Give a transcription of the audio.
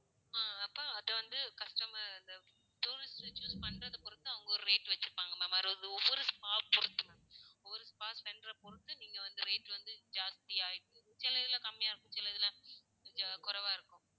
ஆஹ் அப்போ அது வந்து customer tourist choose பண்றத பொருத்து அவங்க ஒரு rate வச்சிருப்பாங்க ma'am அது ஒவ்வொரு spa பொருத்து. ஒரு spa center ர பொருத்து நீங்க வந்து rate வந்து ஜாஸ்தியா சில இதுல கம்மியா இருக்கும். சில இதுல ஜா~குறைவா இருக்கும்.